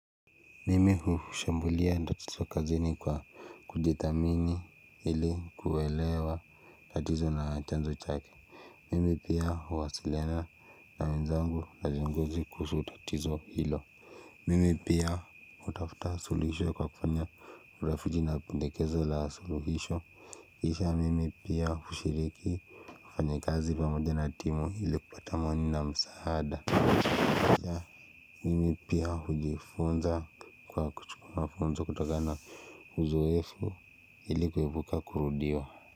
Mimi hushambulia tatizo kazini kwa kujithamini ili kuelewa tatizo na chanzo chake. Mimi pia huwasiliana na wenzangu na viongozi kuhusu tatizo hilo. Mimi pia hutafuta suluhisho kwa kufanya urafuji na pendekezo la suluhisho kisha mimi pia hushiriki wafanyakazi pamoja na timu ili kupata amani na msaada. Mimi pia hujifunza kwa kuchukua mafunzo kutozana uzoefu ili kuepuka kurudiwa.